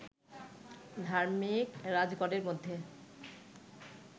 ধার্মিক রাজগণের মধ্যে